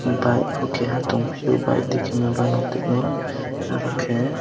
bike po keha tang fiyo biknwng timo aro khe.